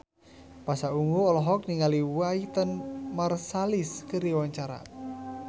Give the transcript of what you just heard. Pasha Ungu olohok ningali Wynton Marsalis keur diwawancara